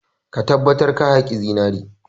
Ka tabbatar ka haƙi zinare!